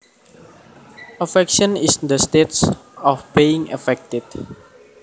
Affection is the state of being affected